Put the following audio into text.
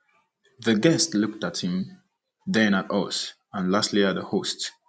The guest looked at him, then at us, and lastly at the host.